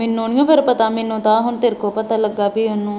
ਮੈਨੂੰ ਨਹੀਂ ਫੇਰ ਪਤਾ ਮੈਨੂੰ ਤਾਂ ਹੁਣ ਤੇਰੇ ਕੋਲ ਪਤਾ ਲੱਗਾ ਬਈ ਉਹਨੂੰ